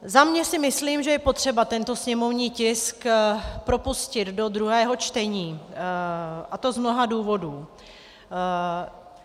Za sebe si myslím, že je potřeba tento sněmovní tisk propustit do druhého čtení, a to z mnoha důvodů.